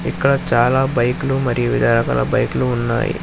ఇక్కడ చాలా బైకులు మరియు వివిధ రకాల బైక్లు ఉన్నాయి.